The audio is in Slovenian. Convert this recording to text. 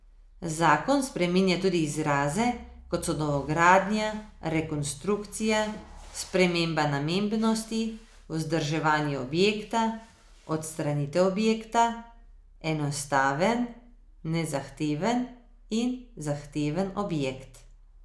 Zakon spreminja tudi izraze, kot so novogradnja, rekonstrukcija, sprememba namembnosti, vzdrževanje objekta, odstranitev objekta, enostaven, nezahteven in zahteven objekt.